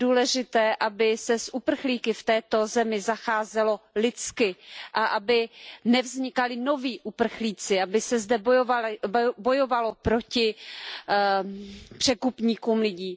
Je důležité, aby se s uprchlíky v této zemi zacházelo lidsky a aby nevznikali noví uprchlíci, aby se zde bojovalo proti překupníkům lidí.